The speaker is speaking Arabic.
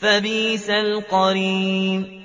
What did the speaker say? فَبِئْسَ الْقَرِينُ